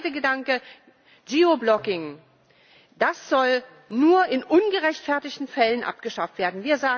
Und der zweite Gedanke Geoblocking soll nur in ungerechtfertigten Fällen abgeschafft werden.